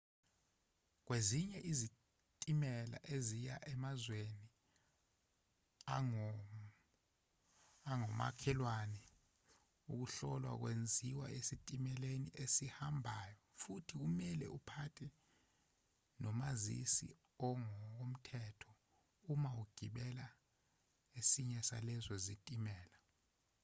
kwezinye izitimela eziya emazweni angomakhelwane ukuhlolwa kwenziwa esitimeleni esihambayo futhi kumelwe uphathe nomazisi ongokomthetho uma ugibela esinye salezo zitimela